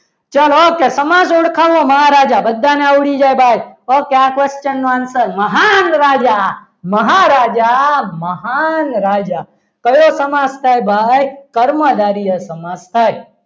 ચલો સમાસ ઓળખાવો મહારાજા બધાને આવડી જાય ભાઈ okay આ question નો answer મહાન રાજા મહારાજા મહાન રાજા કયો સમાસ થાય ભાઈ કર્મધારય સમાસ થાય.